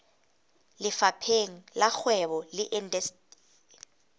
lefapheng la kgwebo le indasteri